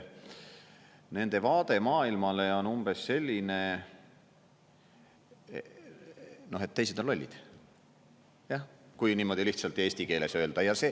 Nende vaade maailmale on umbes selline, et teised on lollid, jah, kui niimoodi lihtsalt eesti keeles öelda.